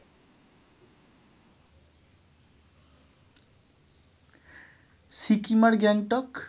সিকিম আর গ্যাংটক